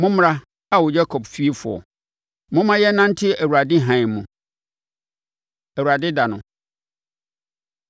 Mommra, Ao Yakob fiefoɔ, momma yɛnnante Awurade hann mu. Awurade Da No